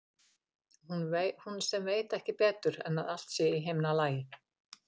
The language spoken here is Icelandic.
Hún sem veit ekki betur en að allt sé í himnalagi.